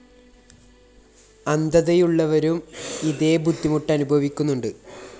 അന്ധതയുള്ളവരും ഇതെ ബുദ്ധിമുട്ട് അനുഭവിക്കുന്നുണ്ട്